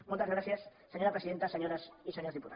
moltes gràcies senyora presidenta senyores i senyors diputats